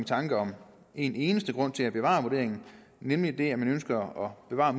tanker om en eneste grund til at bevare vurderingen nemlig den at man ønsker at bevare